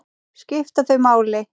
Skipta þau máli?